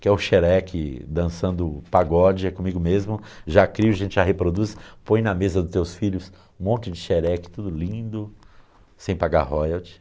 que é o Sherek dançando pagode, é comigo mesmo, já crio, a gente já reproduz, põe na mesa dos teus filhos um monte de Sherek, tudo lindo, sem pagar royalty.